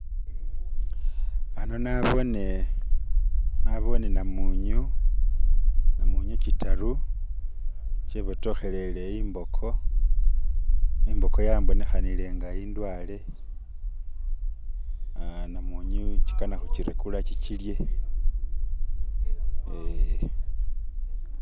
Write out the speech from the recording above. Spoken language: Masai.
Ano naboone namunyu kitaru kyebotokhelele emboko, imboko yambonekhanile nga indwale, ah namunyu kikana khukirekura kikilye eh.